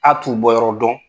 A t'u bɔyɔrɔ dɔn.